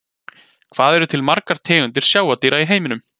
Hvað eru til margar tegundir sjávardýra í heiminum?